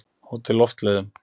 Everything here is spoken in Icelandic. Hótel Loftleiðum